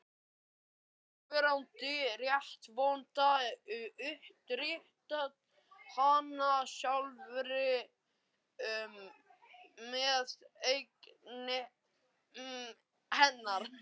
SKÚLI: Fyrrverandi réttarvottar undirrita hana sjálfir með eigin hendi.